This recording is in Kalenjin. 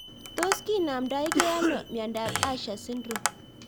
Tos kinamdaikei ano miondop Usher syndrome